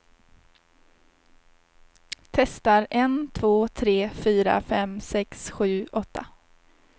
Testar en två tre fyra fem sex sju åtta.